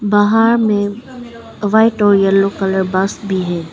बाहर में व्हाइट और येलो कलर बस भी है।